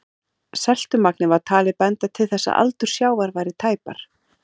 Seltumagnið var talið benda til þess að aldur sjávar væri tæpar